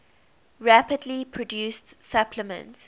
rapidly produced supplement